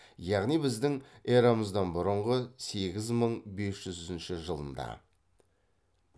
яғни біздің эрамыздан бұрынғы сегіз мың бес жүзінші жылында